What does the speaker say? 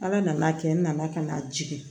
Ala nana a kɛ n nana ka na jigin